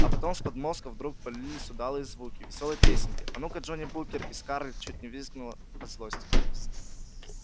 а потом с подмостков вдруг полились удалые звуки весёлой песенки а ну-ка джонни букер и скарлетт чуть не взвизгнула от злости